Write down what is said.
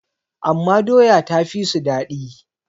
amma doya ta fi su daɗi